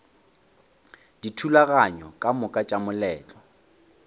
dithulaganyo ka moka tša moletlo